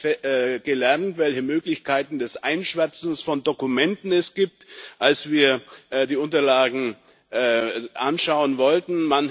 Wir haben jetzt gelernt, welche Möglichkeiten des Einschwärzens von Dokumenten es gibt, als wir die Unterlagen anschauen wollten.